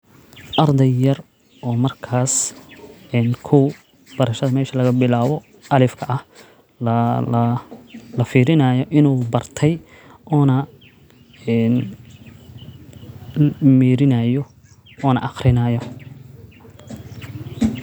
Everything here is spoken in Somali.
Ardey yar oo markas kow barasha mesha lagabilaabo alifka ah lafiirinayo inuu bartey ona meerinayo ona aqrinaayo.